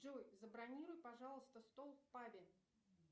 джой забронируй пожалуйста стол в пабе